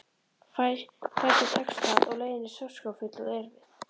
Fæstum tekst það og leiðin er sársaukafull og erfið.